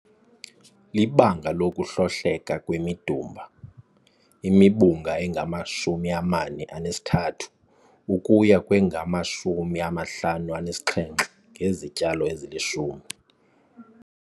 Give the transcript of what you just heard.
IIbanga lokuhlohleka kwemidumba - imibungu engama-43 ukuya kwengama-57 ngezityalo ezilishumi.